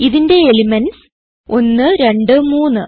ഇതിന്റെ എലിമെന്റ്സ് 1 2 3